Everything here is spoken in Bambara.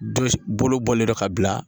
Den bolo bɔlen do ka bila